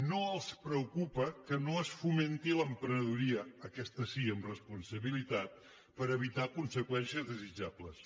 no els preocupa que no es fomenti l’emprenedoria aquesta sí amb responsabilitat per evitar conseqüències no desitjables